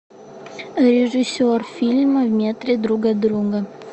режиссер фильма в метре друг от друга